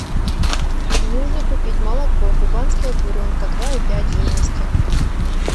нужно купить молоко кубанская буренка два и пять жирности